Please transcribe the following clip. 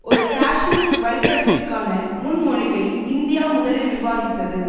ஒரு காஷ்மீர் வழித்தடத்திற்கான முன்மொழிவை இந்தியா முதலில் விவாதித்தது